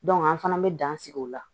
an fana bɛ dan sigi o la